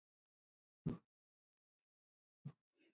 Það munaði um allt.